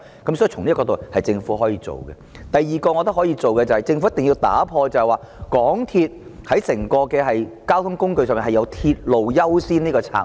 我認為政府可以做的第二件事是，政府必須打破在整個交通運輸系統中，以鐵路為優先的策略。